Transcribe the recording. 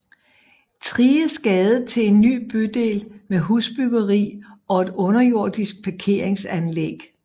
Thriges Gade til en ny bydel med husbyggeri og et underjordisk parkeringsanlæg